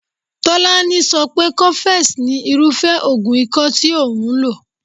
Tolani so pé cofex ni irúfé oògùn ikọ́ tí òun lò.